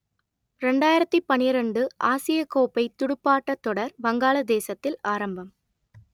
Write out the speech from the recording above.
இரண்டாயிரத்து பன்னிரண்டு ஆசியக் கோப்பை துடுப்பாட்டத் தொடர் வங்காளதேசத்தில் ஆரம்பம்